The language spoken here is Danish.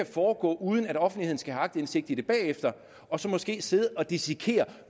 foregå uden at offentligheden skal have aktindsigt i det bagefter og så måske sidde og dissekere